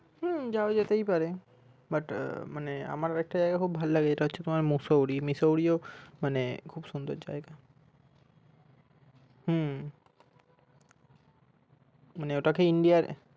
হম যাওয়া যেতেই পারে but আহ মানে আমার একটা জায়গায় খুব ভালো লাগে সেটা হচ্ছে তোমার mussoorie mussoorie ও মানে খুব সুন্দর জায়গা হম মানে ওটাকে india এর